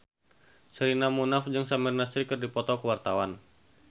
Sherina Munaf jeung Samir Nasri keur dipoto ku wartawan